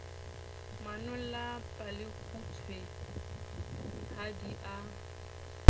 manolla palekgutshwe ha di a